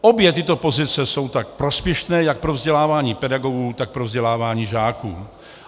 Obě tyto pozice jsou tak prospěšné jak pro vzdělávání pedagogů, tak pro vzdělávání žáků.